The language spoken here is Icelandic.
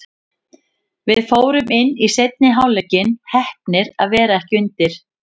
Við fórum inn í seinni hálfleikinn, heppnir að vera ekki undir.